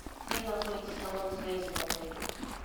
где находится салон связи в отеле